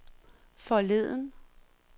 forleden